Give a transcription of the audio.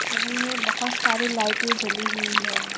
छवि में बहोत सारी लाइटे जली हुई है।